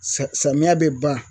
Sa samiyɛ bɛ ban